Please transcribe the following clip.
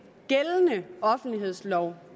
gældende offentlighedslov